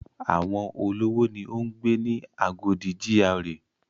Àwọn olówó ni ó ń gbé ni Agodi GRA.